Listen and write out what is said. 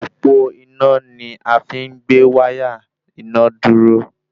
Òpó iná ni afi n gbé wáyà iná dúró